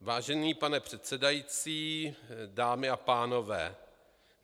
Vážený pane předsedající, dámy a pánové.